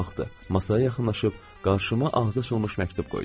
Masaya yaxınlaşıb qarşıma ağzıaçılmış məktub qoydu.